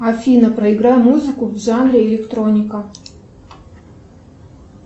афина проиграй музыку в жанре электроника